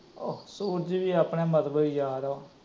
ਸੂਰਜ ਵੀ ਆਪਣੇ ਮਤਬਲੀ ਯਾਰ ਏ ਓ